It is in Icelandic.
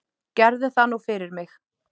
Gerðu það nú fyrir mig